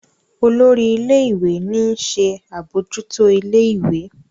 olórí ilé ìwé ní nṣe abojuto ilé ìwé.